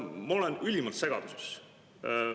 " Ma olen ülimalt segaduses.